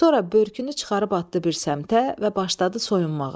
Sonra börkünü çıxarıb atdı bir səmtə və başladı soyunmağa.